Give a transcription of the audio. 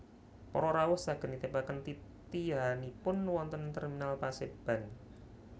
Para rawuh saged nitipaken titihanipun wonten Terminal Paseban